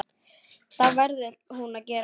Það verður hún að gera.